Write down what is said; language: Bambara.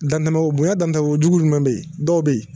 Dantɛmɛ bonyan dantɛmɛko jugu jumɛn be yen dɔw be yen